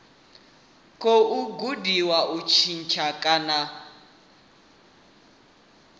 khou gudiwa u tshintsha kana